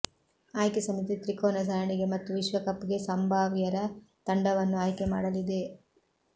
ಆಯ್ಕೆ ಸಮಿತಿ ತ್ರಿಕೋನ ಸರಣಿಗೆ ಮತ್ತು ವಿಶ್ವಕಪ್ಗೆ ಸಂಭಾವ್ಯರ ತಂಡವನ್ನು ಆಯ್ಕೆ ಮಾಡಲಿದೆ